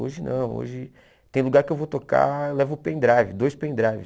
Hoje não, hoje tem lugar que eu vou tocar, eu levo o pendrive, dois pendrives.